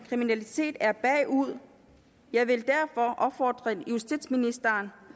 kriminalitet er bagud jeg vil derfor opfordre justitsministeren